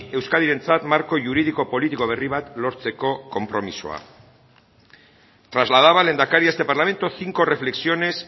euskadirentzat marko juridiko politiko berri bat lortzeko konpromisoa trasladaba el lehendakari a este parlamento cinco reflexiones